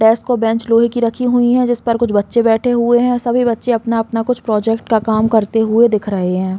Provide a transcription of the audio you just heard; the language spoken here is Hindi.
डेस्क और बेंच लोहे की रखीं हुई हैं जिसपर कुछ बच्चे बैठे हुए हैं। सभी बच्चे अपना-अपना कुछ प्रोजेक्ट का काम करते हुए दिख रहे हैं।